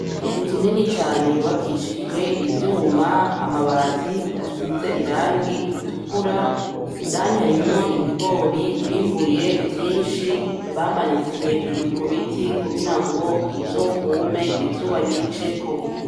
Inzu nini cane yubakishijwe ivyuma, amabati asize irangi ritukura, indani harimwo ibigori bimbuye vyinshi bamanitse hejuru ku biti kugira ngo bizokume izuba ribiceko.